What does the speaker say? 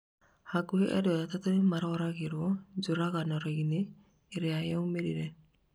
Hakuhĩ andũ atatũ nĩmaroragirwo njũkanĩrĩroinĩ ĩria yarũmĩrĩire